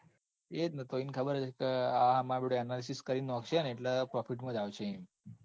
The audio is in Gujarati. એજન તો એન ખબર હતી ન આ માર બેટો analysis કરી નોખસે ન એટલે profit માં જ આવશે.